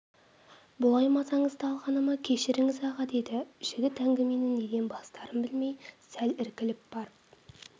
бұлай мазаңызды алғаныма кешіріңіз аға деді жігіт әңгімені неден бастарын білмей сәл іркіліп барып